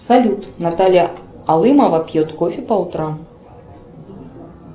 салют наталья алымова пьет кофе по утрам